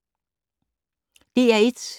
DR1